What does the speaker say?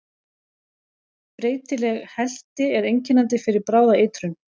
Breytileg helti er einkennandi fyrir bráða eitrun.